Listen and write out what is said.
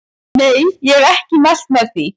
Nei ég hef ekki mælt með því.